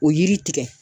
O yiri tigɛ